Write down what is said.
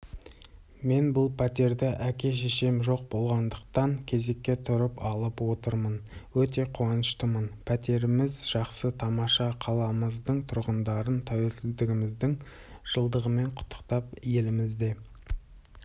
мен бұл пәтерді әке-шешем жоқ болғандықтан кезекке тұрып алып отырмын өте қуаныштымын пәтеріміз жақсы тамаша қаламыздың тұрғындарын тәуелсіздігіміздің жылдығымен құттықтап елімізде